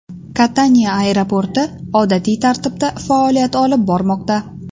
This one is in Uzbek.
Kataniya aeroporti odatiy tartibda faoliyat olib bormoqda.